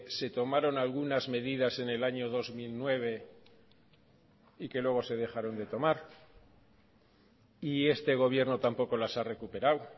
se tomaron algunas medidas en el año dos mil nueve y que luego se dejaron de tomar y este gobierno tampoco las ha recuperado